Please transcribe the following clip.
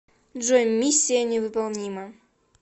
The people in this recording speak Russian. джой миссия невыполнима